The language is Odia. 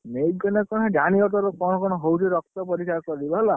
ନେଇକି ଗଲେ କଣ ହବ ଜାଣିବ ସେ ତୋର କଣ କଣ ହଉଛି, ରକ୍ତ ପରୀକ୍ଷା କରିବ ହେଲା।